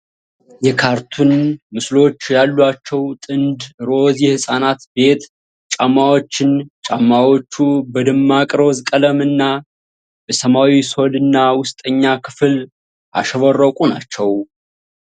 የካርቱን ምስሎች ያሏቸው ጥንድ ሮዝ የህፃናት ቤት ጫማዎችን ። ጫማዎቹ በደማቅ ሮዝ ቀለም እና በሰማያዊ ሶልና ውስጠኛ ክፍል ያሸበረቁ ናቸው።